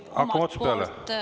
Hakkame otsast peale.